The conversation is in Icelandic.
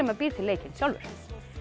maður býr til leikinn sjálfur